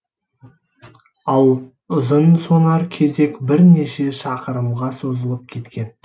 ал ұзынсонар кезек бірнеше шақырымға созылып кеткен